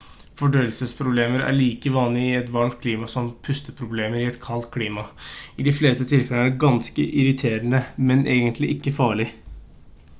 fordøyelsesproblemer er like vanlige i et varmt klima som pusteproblemer i et kaldt klima i de fleste tilfellene er det ganske irriterende men egentlig ikke farlig